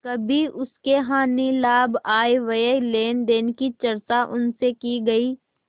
कभी उसके हानिलाभ आयव्यय लेनदेन की चर्चा उनसे की गयी